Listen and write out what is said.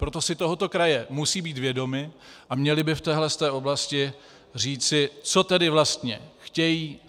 Proto si toho kraje musí být vědomy a měly by v této oblasti říci, co tedy vlastně chtějí.